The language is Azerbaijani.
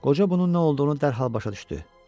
Qoca bunun nə olduğunu dərhal başa düşdü.